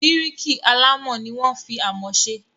Bíríkì alámọ̀ ni wọ́n fi amọ̀ se.